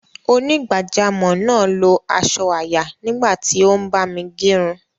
Onígbàjámọ̀ náà lo asọ àyà nígbà tí o ń bámi gerun